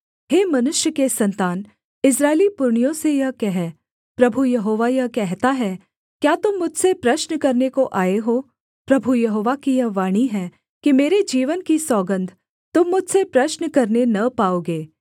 हे मनुष्य के सन्तान इस्राएली पुरनियों से यह कह प्रभु यहोवा यह कहता है क्या तुम मुझसे प्रश्न करने को आए हो प्रभु यहोवा की यह वाणी है कि मेरे जीवन की सौगन्ध तुम मुझसे प्रश्न करने न पाओगे